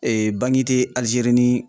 te Alijeri ni